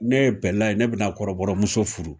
Ne bɛla ne bɛ na kɔrɔbɔrɔmuso furu